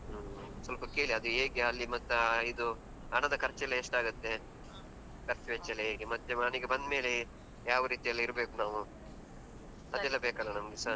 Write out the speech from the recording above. ಹ್ಮ ಸ್ವಲ್ಪ ಕೇಳಿ ಅದು ಹೇಗೆ ಅಲ್ಲಿ ಮತ್ತ ಇದು ಹಣದ ಖರ್ಚೆಲ್ಲಾ ಎಷ್ಟಾಗುತ್ತೆ. ಖರ್ಚು ವೆಚ್ಚ ಎಲ್ಲ ಹೇಗೆ, ಮತ್ತೆ ಮನೆಗೆ ಬಂದ್ಮೇಲೆ ಯಾವ ರೀತಿಯಲ್ಲಿರ್ಬೇಕ್ ನಾವು, ನಮ್ಗೆ ಸ.